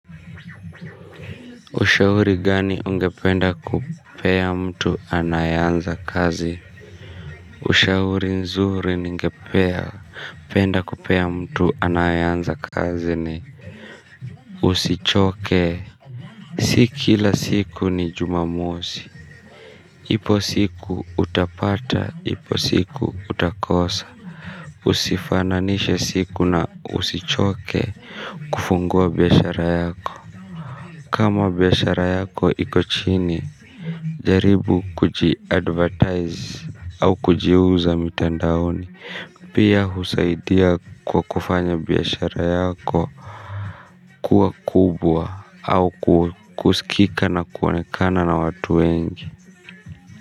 Ushauri gani ungependa kupea mtu anayeanza kazi. Ushauri nzuri ningepea. Penda kupea mtu anae anza kazi ni usichoke si kila siku ni jumamosi. Ipo siku utapata ipo siku utakosa. Usifananishe siku na usichoke kufungua biashara yako kama biashara yako iko chini jaribu kuji advertise au kujiuza mitandaoni pia husaidia kwa kufanya biashara yako kuwa kubwa au kukusikika na kuonekana na watu wengi.